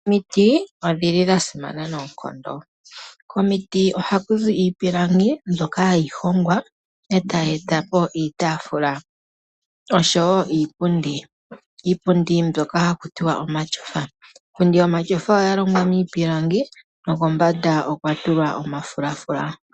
Omiti odhili dha simana noonkondo. Komiti ohaku zi iipilangi mbyoka hayi hongwa e tayi etapo itaafula oshowo iipundi. Iipundi mbyoka haku tiwa omashofa. Iipundi yomashofa oya longwa miipilangi nokombanda okwa tulwa omafulafula.